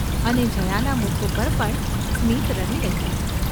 અને જયાના મુખ ઉપર પણ સ્મિત રમી રહ્યું.